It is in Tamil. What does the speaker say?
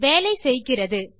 வேலை செய்கிறது